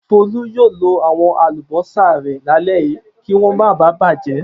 Folú yóò lo àwọn àlùbọ́sà rẹ̀ lálẹ́ yìí kí wọ́n máa ba bàjẹ́.